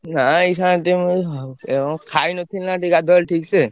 ନା ଏଇ ସାଙ୍ଗେ ଟିକେ ମୁଁ ଏଇ ଖାଇନଥିଲି ନା ଟିକେ ଗାଧୁଆବେଳେ ଠିକ୍ ସେ।